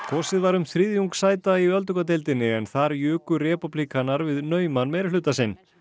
kosið var um þriðjung sæta í öldungadeildinni en þar juku repúblikanar við nauman meirihluta sinn